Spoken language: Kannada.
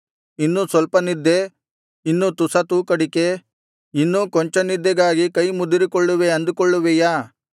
ಇನ್ನು ಸ್ವಲ್ಪ ನಿದ್ದೆ ಇನ್ನು ತುಸ ತೂಕಡಿಕೆ ಇನ್ನೂ ಕೊಂಚ ನಿದ್ದೆಗಾಗಿ ಕೈಮುದುರಿಕೊಳ್ಳುವೆ ಅಂದುಕೊಳ್ಳುವಿಯಾ